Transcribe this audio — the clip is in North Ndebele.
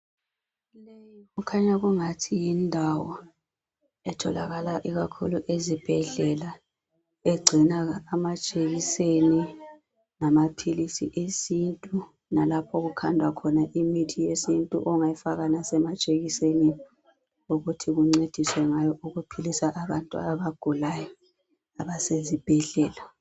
Kukhanya kungathi yindawo etholakala ikakhulu ezibhedlela egcina amajekiseni lamaphilisi esintu lalapha okukhandwa khona imithi yesintu ongayifaka lasemajekisenini ukuthi kuncediswe ngayo ukuphilisa abantu abagulayo abasezibhedlela.